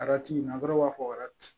nanzaraw b'a fɔ